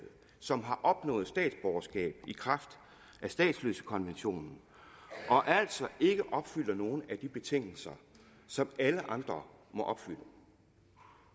som opnår statsborgerskab i kraft af statsløsekonventionen og altså ikke opfylder nogen af de betingelser som alle andre må opfylde